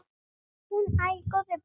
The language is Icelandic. Hún: Æi, góði besti.!